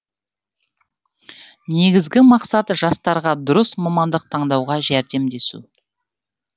негізгі мақсат жастарға дұрыс мамандық таңдауға жәрдемдесу